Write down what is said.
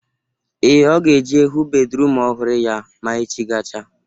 Ee, Ọ ga-eje hụ bedruum ọhụrụ ya ma echi gachaa